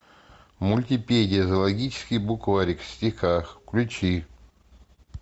мультипедия зоологический букварик в стихах включи